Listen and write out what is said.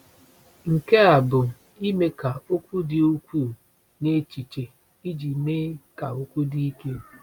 Nke a bụ ime ka okwu dị ukwuu n’echiche iji mee ka okwu dị ike.